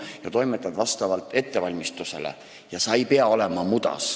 Sa toimetad vastavalt oma ettevalmistusele, sa ei pea mudas olema.